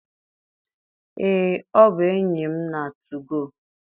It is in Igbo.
Ee, ọ bụ enyi m na 2go.